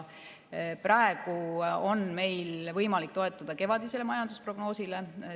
Praegu on meil võimalik toetuda kevadisele majandusprognoosile.